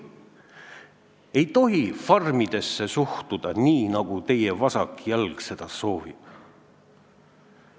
Ei tohi farmidesse suhtuda nii, nagu teie vasak jalg seda soovib!